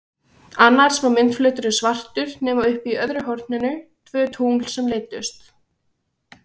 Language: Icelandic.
Annars var myndflöturinn svartur nema uppi í öðru horninu tvö tungl sem leiddust.